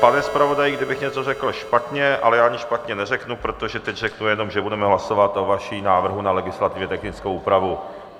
Pane zpravodaji, kdybych něco řekl špatně, ale já nic špatně neřeknu, protože teď řeknu jenom, že budeme hlasovat o vašem návrhu na legislativně technickou úpravu.